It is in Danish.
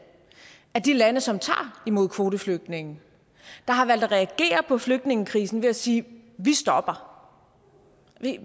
af de lande som tager imod kvoteflygtninge der har valgt at reagere på flygtningekrisen ved at sige vi stopper